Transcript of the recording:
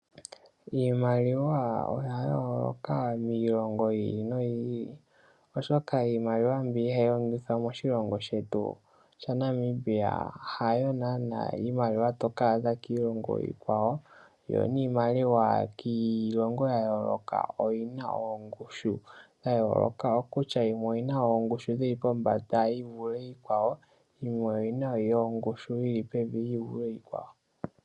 Iimaliwa oya yooloka miilongo yi ili noyi ili, oshoka iimaliwa mbi hayi longithwa moshilongo shetu shaNamibia hayo naana iimaliwa to kaadha kiilongo iikwawo, yo niimaliwa yiilongo ya yooloka oyina ongushu yooloka kutya yimwe oyina ongushu yili pombanda yi vule iikwawo, yimwe oyina ongushu yili pevi yi vule iikwawo.